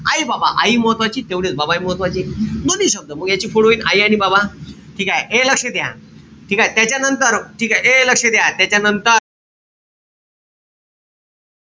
आई-बाबा. आई महत्वाची तेवढेच बाबाहि महत्वाचे. दोन्हीही शब्द म याची फोड होईल आई आणि बाबा. ठीकेय? ए लक्ष द्या. ठीकेय? त्याच्यानंतर ठीकेय? ए लक्ष द्या. त्याच्यानंतर,